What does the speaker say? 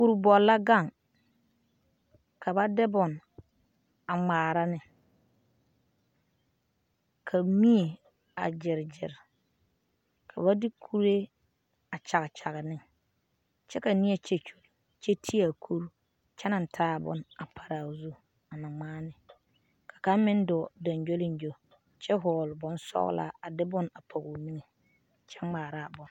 Kuri bɔle la gaŋ ka ba de bone a ŋmaara ne ka mie a gyeregyere ka ba de kuree a kyagekyage ne kyɛ ka neɛ kyɛkyuli kyɛ te a kuri kyɛ naŋ taa a bone a pare a o zu a na ŋmaa ne ka kaŋa meŋ dɔɔ gyoŋgyoliŋgyo kyɛ hɔɔle bone sɔgelaa a de bone pɔge o niŋe kyɛ ŋmaara a bone.